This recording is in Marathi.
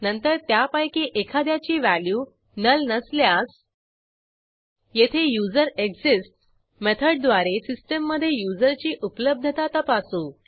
नंतर त्यापैकी एखाद्याची व्हॅल्यू नुल नसल्यास येथे युझरेक्सिस्ट्स मेथडद्वारे सिस्टीममधे युजरची उपलब्धता तपासू